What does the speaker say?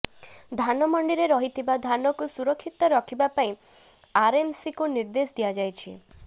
ଧାନମଣ୍ଡିରେ ରହିଥିବା ଧାନକୁ ସୁରକ୍ଷିତ ରଖିବା ପାଇଁ ଆରଏମ୍ସିକୁ ନିର୍ଦ୍ଦେଶ ଦିଆଯାଇଛି